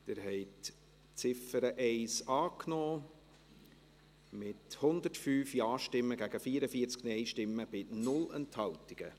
Sie haben die Ziffer 1 angenommen, mit 105 Ja- gegen 44 Nein-Stimmen bei 0 Enthaltungen.